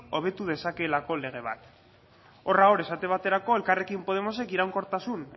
hobetu dezakeelako lege bat horra hor esate baterako elkarrekin podemosek iraunkortasun